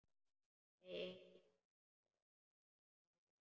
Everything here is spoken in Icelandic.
Nei, engin hætta, sagði Gunni.